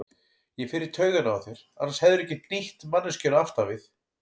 Ég fer í taugarnar á þér, annars hefðirðu ekki hnýtt manneskjunni aftan við.